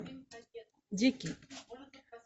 дикий